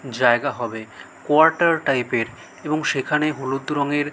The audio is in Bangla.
জায়গা হবে কোয়াটার টাইপ এর এবং সেখানে হলুদ রংএর--